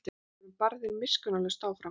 Við vorum barðir miskunnarlaust áfram.